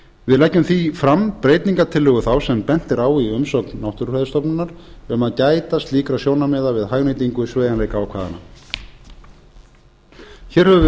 við leggjum því fram breytingartillögu þá sem bent er á í umsögn náttúrufræðistofnunar um að gæta slíkra sjónarmiða við hagnýtingu sveigjanleikaákvæðanna hér höfum